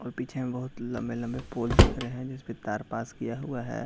और पीछे में बहुत लम्बे-लम्बे पोल दिख रहें हैं जिस पे तार पास किया हुआ है।